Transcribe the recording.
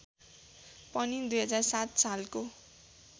पनि २००७ सालको